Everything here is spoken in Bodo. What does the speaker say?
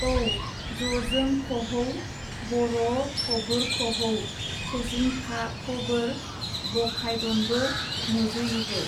औ जजोंखहौ- बर' फबोरखहौ चचीनखाफबोर बखायदनबो नजुयिबो।